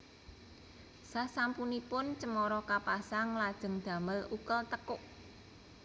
Sasampunipun cemara kapasang lajeng damel ukel tekuk